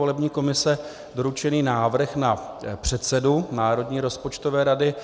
Volební komise doručený návrh na předsedu Národní rozpočtové rady